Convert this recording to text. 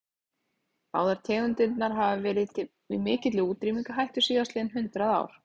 Báðar tegundirnar hafa verið í mikilli útrýmingarhættu síðastliðin hundrað ár.